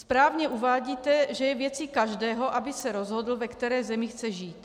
Správně uvádíte, že je věcí každého, aby se rozhodl, ve které zemi chce žít.